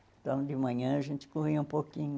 Então, de manhã, a gente corria um pouquinho.